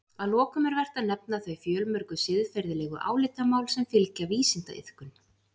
Að lokum er vert að nefna þau fjölmörgu siðferðilegu álitamál sem fylgja vísindaiðkun.